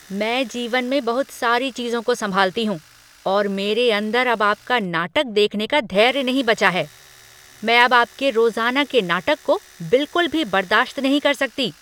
मैं जीवन में बहुत सारी चीजों को संभालती हूँ और मेरे अंदर अब आपका नाटक देखने का धैर्य नहीं बचा है। मैं अब आपके रोज़ाना के नाटक को बिलकुल भी बर्दाश्त नहीं कर सकती।